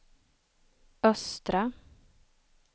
östra